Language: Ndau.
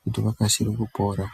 kuti vakasire kupora.